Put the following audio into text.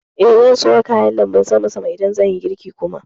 Eh, zan soya kayan lanbun sama sama in zan yi girki kuma